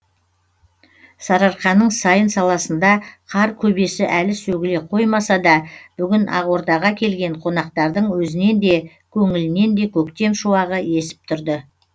сарыарқаның сайын саласында қар көбесі әлі сөгіле қоймаса да бүгін ақордаға келген қонақтардың өзінен де көңілінен де көктем шуағы есіп тұрды